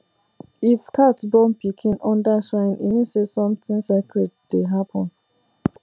if cat born pikin under shrine e mean say something sacred dey happen